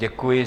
Děkuji.